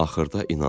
Axırda inandım.